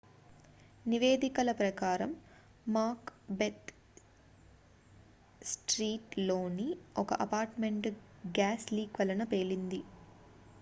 నివేదికల ప్రకారం Macbeth street లోని ఒక అపార్ట్ మెంట్ గ్యాస్ లీక్ వలన పేలింది